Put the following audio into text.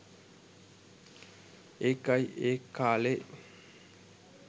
ඒකයි ඒ කාලේ